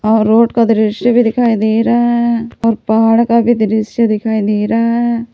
और रोड का दृश्य भी दिखाई दे रहा है और पहाड़ का भी दृश्य दिखाई दे रहा है।